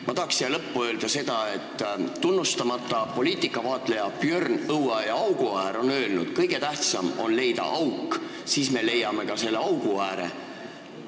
Ma tahan siia lõppu öelda seda, et tunnustamata poliitikavaatleja Björn Õueaiaauguäär on öelnud, et kõige tähtsam on leida auk, siis me leiame ka selle augu ääre.